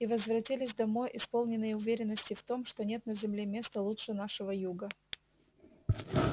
и возвратились домой исполненные уверенности в том что нет на земле места лучше нашего юга